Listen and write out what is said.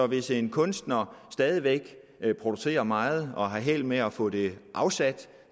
hvis en kunstner stadig væk producerer meget og har held med at få det afsat